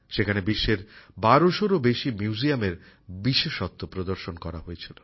সেখানে বিশ্বের ১২০০এর ও বেশী মিউজিয়াম এর বিশেষত্ব প্রদর্শন করা হয়েছিল